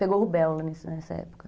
Pegou rubéola nesse nessa época.